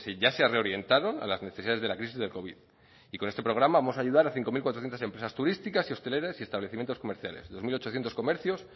ya se ha reorientado a las necesidades de la crisis del covid y con este programa vamos a ayudar a cinco mil cuatrocientos empresas turísticas y hosteleras y establecimientos comerciales dos mil ochocientos comercios